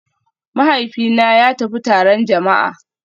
Mahaifina ya tafi taron jama'a